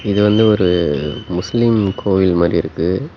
இது வந்து ஒரு முஸ்லிம் கோயில் மாரி இருக்கு.